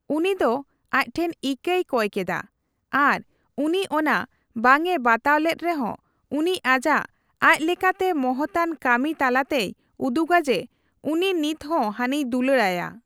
ᱩᱱᱤ ᱫᱚ ᱟᱡ ᱴᱷᱮᱱ ᱤᱠᱟᱹᱭ ᱠᱚᱭ ᱠᱮᱫᱟ, ᱟᱨ ᱩᱱᱤ ᱚᱱᱟ ᱵᱟᱝᱮ ᱵᱟᱛᱟᱣ ᱞᱮᱫ ᱨᱮᱦᱚᱸ ᱩᱱᱤ ᱟᱡᱟᱜ ᱟᱪᱞᱮᱠᱟᱛᱮ ᱢᱚᱦᱚᱛᱟᱱ ᱠᱟᱹᱢᱤ ᱛᱟᱞᱟᱛᱮᱭ ᱩᱫᱩᱜᱟ ᱡᱮ ᱩᱱᱤ ᱱᱤᱛᱦᱚᱸ ᱦᱟᱹᱱᱤᱭ ᱫᱩᱞᱟᱹᱲᱟᱭᱟ ᱾